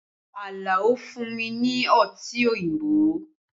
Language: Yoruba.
Alao fún mi ní Ọtí òyìnbó